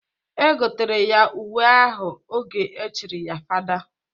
E gotere ya uwe ahụ oge e chiri ya fada.